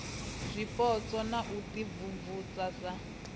zwipotso na u imvumvusa srsa